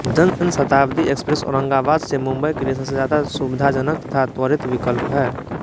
जन शताब्दी एक्सप्रेस औरंगाबाद से मुंबई के लिए सबसे ज्यादा सुविधाजनक तथा त्वरित विकल्प है